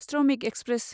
श्रमिक एक्सप्रेस